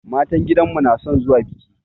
Matan gidanmu na son zuwa biki.